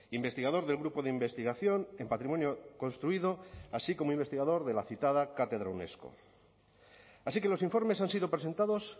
investigador del grupo de investigación en patrimonio construido así como investigador de la citada cátedra unesco así que los informes han sido presentados